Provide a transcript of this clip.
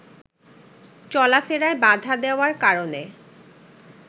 চলাফেরায় বাধা দেওয়ার কারণে